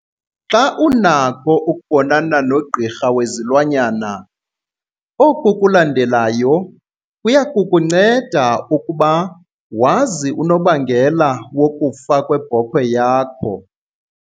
Xa unakho ukubonana nogqirha wezilwanyana, oku kulandelayo kuya kukunceda ukuba wazi unobangela wokufa kwebhokhwe yakho.